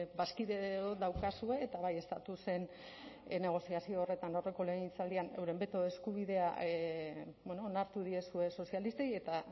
bazkide daukazue eta bai estatusen negoziazio horretan aurreko legegintzaldian euren beto eskubidea onartu diezue sozialistei eta